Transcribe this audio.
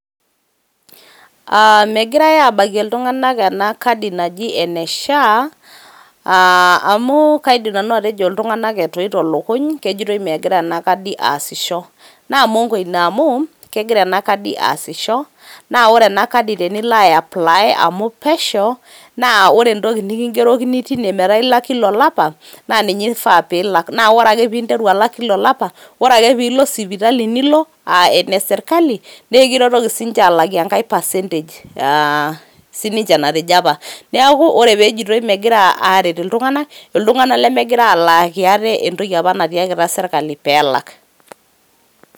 Megirae aabakie iltunganak ena kadi naji ene SHA amu kaidim nanu atejo ltunganak etoito illokuny, kejotoi megira ana kadi aasisho, naa m'mongo ina amuu kegira ina kadi aasisho naa ore ena kadi tenilo aiaplaii amu pesheu naa ore entoki nikiingerokini teine metaa ilak kila il'lapa naa ninye eifaa piilak, naa ore ake piintaru aalak kila llapa, ore ake piilo sipitali nilo aa eneserikali nikintoki sii ninche alaaki enkae percentage sii ninche natejo apaa, naaku ore peejetoi megira aaret ilyunganak, iltunganak lemegira alaaki ateentoki apa nataakita esirikali peelak.